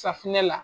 Safinɛ la